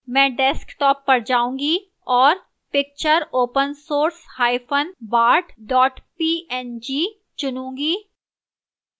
मैं desktop पर जाऊंगी और picture opensourcebart png चुनूंगी